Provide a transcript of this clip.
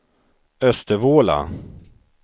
Östervåla